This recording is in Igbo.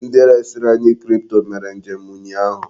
Ndi resiri anyi kripto mere njem ụnyaahụ.